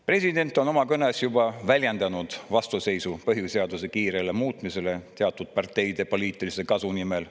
President oma kõnes juba väljendas vastuseisu põhiseaduse kiirele muutmisele teatud parteide poliitilise kasu nimel.